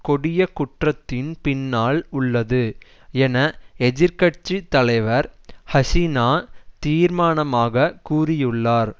கொடிய குற்றத்தின் பின்னால் உள்ளது என எதிர்கட்சி தலைவர் ஹசினா தீர்மானமாக கூறியுள்ளார்